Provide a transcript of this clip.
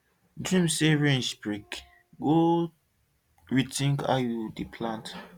dream say ridge break go rethink how you dey plant